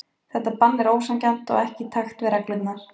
Þetta bann er ósanngjarnt og ekki í takt við reglurnar.